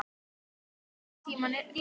Mun þessu einhvern tímann linna?